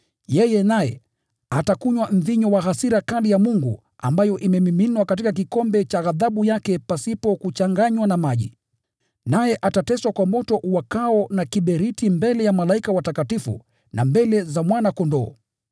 yeye pia atakunywa mvinyo wa hasira kali ya Mungu ambayo imemiminwa katika kikombe cha ghadhabu yake pasipo kuchanganywa na maji. Naye atateswa kwa moto uwakao na kiberiti mbele ya malaika watakatifu na mbele za Mwana-Kondoo.